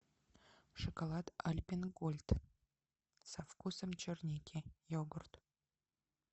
шоколад альпен гольд со вкусом черники йогурт